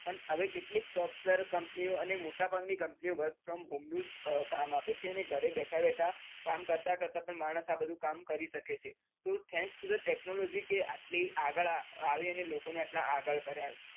પણ હવે કેટલીક software company અને મોટા ભાગ ની company work from home નું જ કામ આપે છે અને ઘરે બેઠા બેઠા કામ કરતા કરતા પણ માણસ આ બધું કામ કરી શકે છે તો thanks to the technology કે આટલી આગળ આવી અને લોકો ને આટલા આગળ કર્યા.